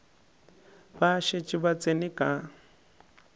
ba šetše ba tsene ka